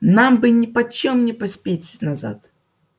нам бы нипочём не поспеть назад